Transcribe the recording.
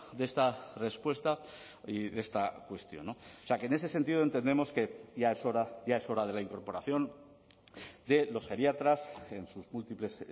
de esta respuesta y de esta cuestión o sea que en ese sentido entendemos que ya es hora ya es hora de la incorporación de los geriatras en sus múltiples